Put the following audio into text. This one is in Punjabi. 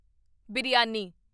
ਬਿਰਿਆਨੀ